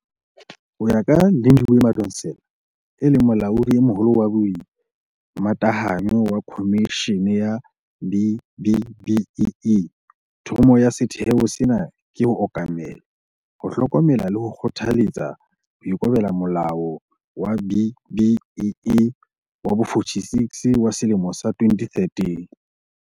Ho ya ka Lindiwe Madonsela, e leng Molaodi e Moholo wa Boimatahanyo wa Khomishene ya B-BBEE, thomo ya setheo sena ke ho okamela, ho hlokomela le ho kgothaletsa ho ikobela Molao wa B-BBEE wa bo-46 wa selemo sa 2013.